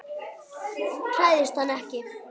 Hræðist hann ekki.